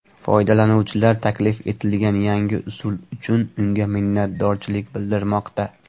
Foydalanuvchilar taklif etilgan yangi usul uchun unga minnatdorchilik bildirmoqda.